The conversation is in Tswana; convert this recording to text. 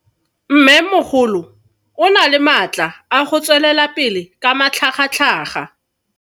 Mmemogolo o na le matla a go tswelela pele ka matlhagatlhaga.